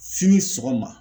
Sini sɔgɔma